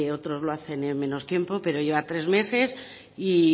otros lo hacen en menos tiempo pero lleva tres meses y